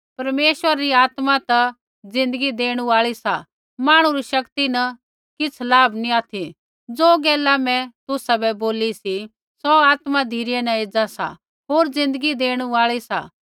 परमेश्वरा री आत्मा ता ज़िन्दगी देणु आई सा मांहणु री शक्ति न किछ़ लाभ नी ऑथि ज़ो गैला मैं तुसाबै बोली सी सौ आत्मा धिरै न एज़ा सा होर ज़िन्दगी देणु आल़ी सा